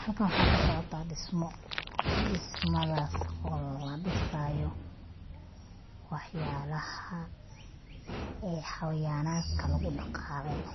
Halka waxa kasocota dismo dismadas oo ladisayo waxyalaha ay hawayanadka lagudagaleyo,